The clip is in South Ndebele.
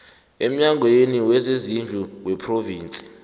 emnyangweni wezezindlu wephrovinsi